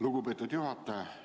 Lugupeetud juhataja!